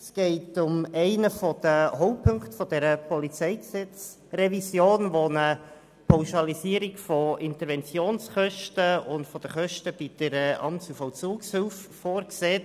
Es geht um einen der Hauptpunkte der PolG-Revision, der eine Pauschalisierung von Interventionskosten und den Kosten bei der Amts- und Vollzugshilfe vorsieht.